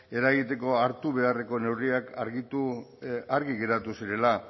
eragiteko hartu beharreko neurriak argitu argi geratu zirela